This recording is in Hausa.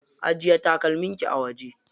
Ajiye takalman ki a waje.